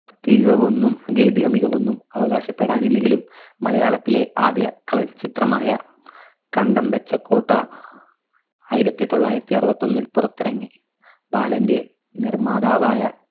അധികമൊന്നും ഭേദിക്ക മികവൊന്നും അവകാശപ്പെടാനില്ലെങ്കിലും മലയാളത്തിലെ ആദ്യ colour ചിത്രമായ കണ്ടം വെച്ച കോട്ട ആയിരത്തി തൊള്ളായിരത്തി അറുപത്തൊന്നിൽ പുറത്തിറങ്ങി. ബാലന്റെ നിർമാതാവായ